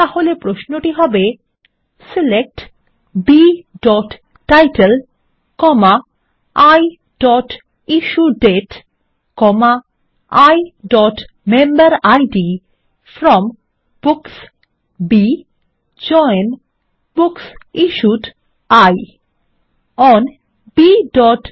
তাহলে প্রশ্নটি হবে 160 সিলেক্ট bটাইটেল iইস্যুডেট iমেম্বেরিড from books B join books issued I on bবুকিড